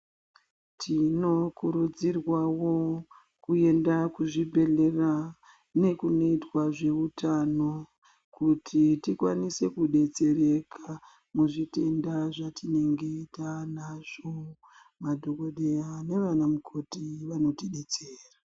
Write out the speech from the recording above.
Tinokurudzirwawo kuenda kuzvibhedhlera nekunoitwa zveutano kuti tikwanise kudetsereka muzvitenda zvatinenge taanazvo, madhokodheya nevana mukhoti vanoti detsera.